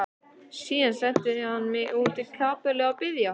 Síðan sendi hann mig út í kapellu að biðja.